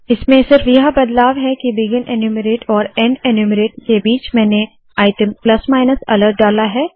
इसमें सिर्फ यह बदलाव है के बिगिन एन्यूमरेट और एंड एन्यूमरेट के बीच मैंने आइटम प्लस मायनस अलर्ट डाला है